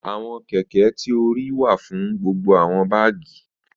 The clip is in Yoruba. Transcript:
Awọn kẹ̀kẹ̀ ti o ríì wà fún gbogbo awọn bágì.